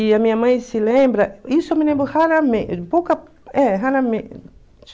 E a minha mãe se lembra, isso eu me lembro pouca, é